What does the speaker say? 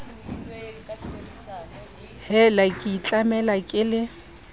hela ke itlamela ke le